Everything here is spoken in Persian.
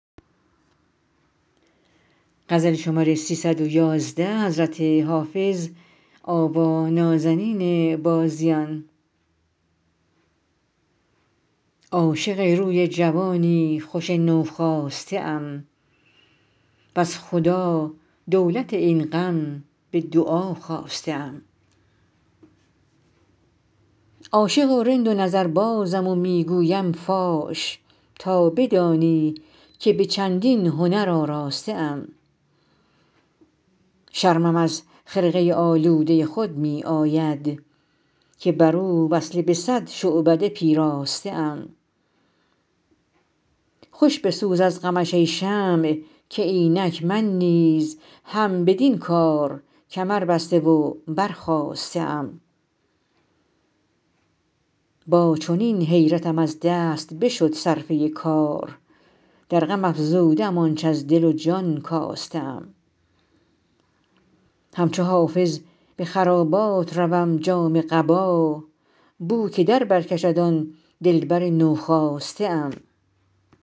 عاشق روی جوانی خوش نوخاسته ام وز خدا دولت این غم به دعا خواسته ام عاشق و رند و نظربازم و می گویم فاش تا بدانی که به چندین هنر آراسته ام شرمم از خرقه آلوده خود می آید که بر او وصله به صد شعبده پیراسته ام خوش بسوز از غمش ای شمع که اینک من نیز هم بدین کار کمربسته و برخاسته ام با چنین حیرتم از دست بشد صرفه کار در غم افزوده ام آنچ از دل و جان کاسته ام همچو حافظ به خرابات روم جامه قبا بو که در بر کشد آن دلبر نوخاسته ام